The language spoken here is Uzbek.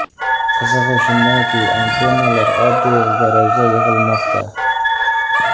Qizig‘i shundaki, antennalar oddiy garajda yig‘ilmoqda.